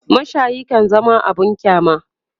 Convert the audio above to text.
mashayi kan zama abun kyama